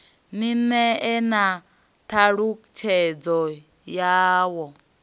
ni ṋee na ṱhalutshedzo yawo